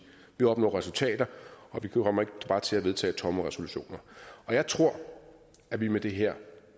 vi opnår resultater og vi kommer ikke bare til at vedtage tomme resolutioner jeg tror at vi med det her